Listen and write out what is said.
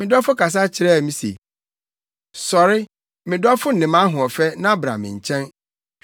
Me dɔfo kasa kyerɛɛ me se, “Sɔre, me dɔfo ne mʼahoɔfɛ na bra me nkyɛn.